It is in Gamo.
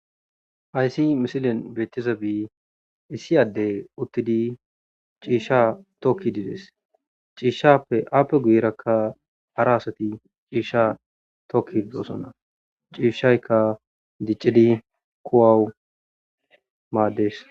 ayssi misilon beettiza bii issi addey uttidi ciisha tokki dides ciishappe aappe guyeraka hara asati ciisha tokki didosonna ciishshaykka diccidi kuwawu maaddes